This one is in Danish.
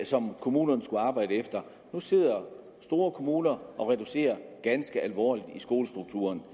som kommunerne skulle arbejde efter nu sidder store kommuner og reducerer ganske alvorligt i skolestrukturen